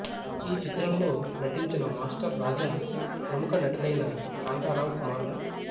ఈ చిత్రంలో నటించిన మాస్టర్ రాజా ప్రముఖ నటులైన కాంతారావు కుమారులు